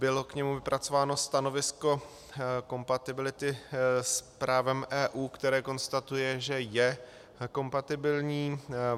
Bylo k němu vypracováno stanovisko kompatibility s právem EU, které konstatuje, že je kompatibilní.